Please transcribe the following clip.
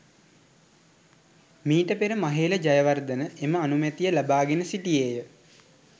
මීට පෙර මහේල ජයවර්ධන එම අනුමැතිය ලබාගෙන සිටියේ ය.